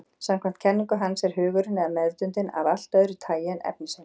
Samkvæmt kenningu hans er hugurinn, eða meðvitundin, af allt öðru tagi en efnisheimurinn.